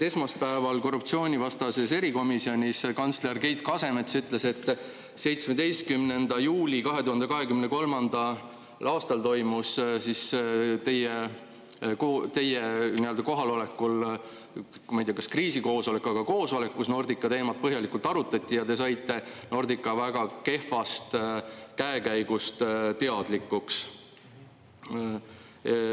Esmaspäeval korruptsioonivastases erikomisjonis kantsler Keit Kasemets ütles, et 17. juulil 2023. aastal toimus teie kohalolekul, ma ei tea, kas kriisikoosolek, aga koosolek, kus Nordica teemat põhjalikult arutati ja kus te saite Nordica väga kehvast käekäigust teadlikuks.